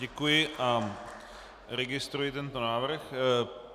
Děkuji a registruji tento návrh.